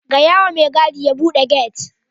Gayawa mai gadi ya bude gate.